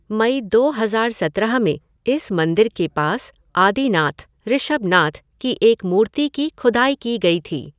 मई दो हज़ार सत्रह में इस मंदिर के पास आदिनाथ, ऋषभनाथ, के एक मूर्ति की खुदाई की गई थी।